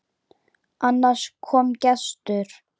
Annars kom gestur.